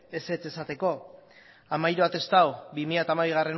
ezetz esateko hamairu atestatu bi mila hamabigarrena